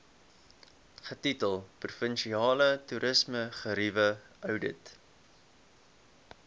getitel provinsiale toerismegerieweoudit